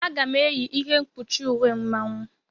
Aga m -eyi ihe mkpuchi uwe Mmanwu.